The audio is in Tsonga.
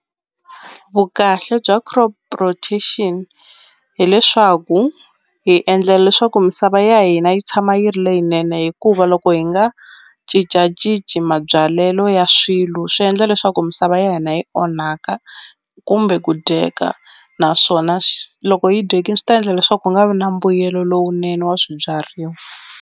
Vukahle bya crop rotation hileswaku hi endlela leswaku misava ya hina yi tshama yi ri leyinene hikuva loko hi nga cincacinci mabyalelo ya swilo swi endla leswaku misava ya hina yi onhaka kumbe ku dyeka naswona loko yi dyekini swi ta endla leswaku ku nga vi na mbuyelo lowunene wa swibyariwa.